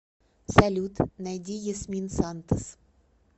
салют найди ясмин сантос